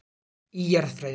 Í Jarðfræði.